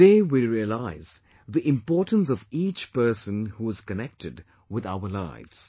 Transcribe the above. Today we realise the importance of each person who is connected with our lives